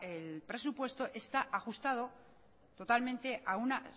el presupuesto está ajustado totalmente a una